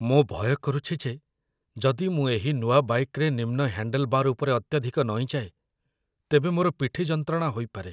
ମୁଁ ଭୟ କରୁଛି ଯେ ଯଦି ମୁଁ ଏହି ନୂଆ ବାଇକ୍‌ରେ ନିମ୍ନ ହ୍ୟାଣ୍ଡେଲ୍‌ବାର୍ ଉପରେ ଅତ୍ୟଧିକ ନଇଁଯାଏ, ତେବେ ମୋର ପିଠି ଯନ୍ତ୍ରଣା ହୋଇପାରେ